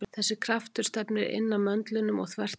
Þessi kraftur stefnir inn að möndlinum og þvert á hann.